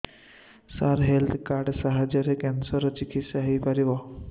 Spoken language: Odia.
ସାର ହେଲ୍ଥ କାର୍ଡ ସାହାଯ୍ୟରେ କ୍ୟାନ୍ସର ର ଚିକିତ୍ସା ହେଇପାରିବ